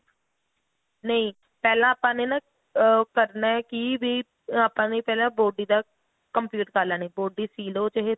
ਨਹੀਂ ਪਹਿਲਾਂ ਆਪਾਂ ਨੇ ਨਾ ਆ ਕਰਨਾ ਕੀ ਵੀ ਆਪਾਂ ਨੇ ਪਹਿਲਾਂ body ਦਾ complete ਕਰ ਲੈਣੀ body ਸੀ ਲਓ ਚਾਹੇ ਤੁਸੀਂ